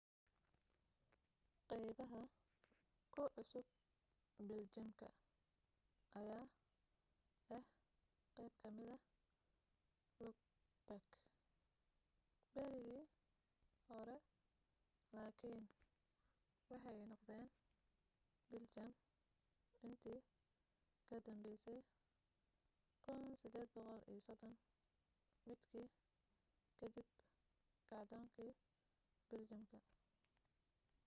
qaybaha ku cusub biljamka ayaa ahaa qayb kamida luxembourg berigii hore lakiin waxay noqdeen biljam intii ka danbaysay 1830 maadkii kadib kacdoonkii biljamka